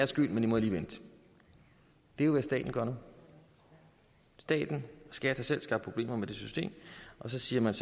skyld men de må lige vente det er hvad staten gør nu staten skat har selv skabt problemerne med det system og så siger man